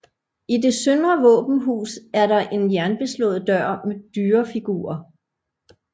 I det søndre våbenhus er der en jernbeslået dør med dyrefigurer